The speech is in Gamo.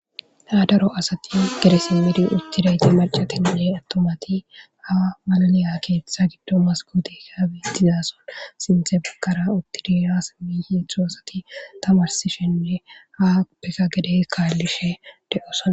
ha daro asati gedesimidi uctidayti marcatinne atomati ha maliliya keeththa giddo maskotika bitizason sinthe bakara uttidiirasmihietztho asati tamarsishenne ha peka gedey kaallishe de7osana